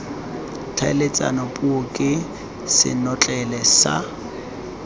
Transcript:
tlhaeletsano puo ke senotlele sa